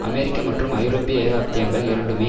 அமெரிக்க மற்றும் ஐரோப்பிய ஏகாப்தியங்கள் இரண்டுமே